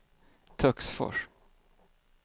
Töcksfors